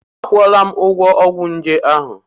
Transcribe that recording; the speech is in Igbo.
Akwụọla m ụgwọ ọgwụ nje ahụ.